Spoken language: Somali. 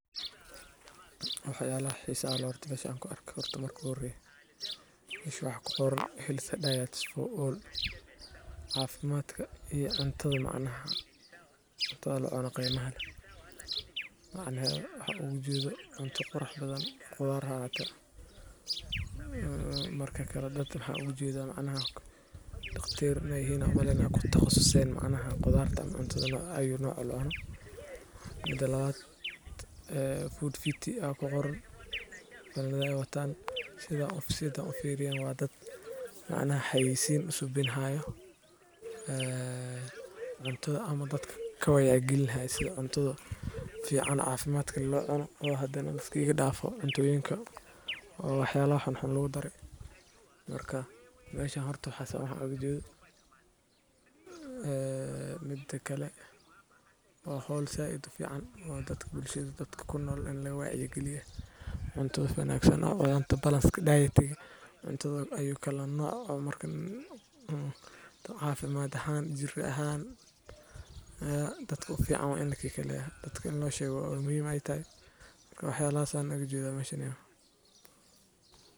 Waxyalaha xisaha leh oo mesha kuarko ,marka hore waa qoran healthier diet, Cafimaddu waa tiir ka mid ah nolosha bini'aadamka, waana mid muhiim u ah horumarka qofka, bulshada, iyo guud ahaan waddanka. Cafimad wanaagsan wuxuu qofka siinayaa awood uu ku gudan karo waajibaadkiisa nololeed sida shaqada, waxbarashada, iyo ka qaybgalka howlaha bulshada. Marka qofku caafimaad qabo, maskaxdiisu waxay si fiican u shaqaysaa, jidhkiisuna wuxuu awoodaa inuu la qabsado duruufaha kala duwan. Sidoo kale, caafimaadka wanaagsan wuxuu yareeyaa fursadda cudurrada faafa iyo kuwa daba-dheeraada.